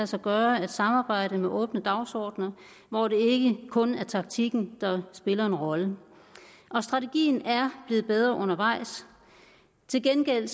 sig gøre at samarbejde med åbne dagsordener hvor det ikke kun er taktikken der spiller en rolle strategien er blevet bedre undervejs til gengæld